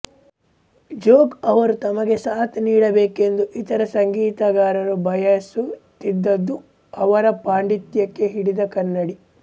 ಜೋಗ್ ಅವರು ತಮಗೆ ಸಾಥ್ ನೀಡಬೇಕೆಂದು ಇತರ ಸಂಗೀತಗಾರರು ಬಯಸುತ್ತಿದ್ದದ್ದು ಅವರ ಪಾಂಡಿತ್ಯಕ್ಕೆ ಹಿಡಿದ ಕನ್ನಡಿ